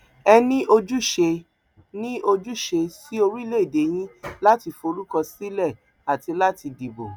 ẹ ní ojúṣe ní ojúṣe sí orílẹèdè yín láti forúkọ sílẹ àti láti dìbò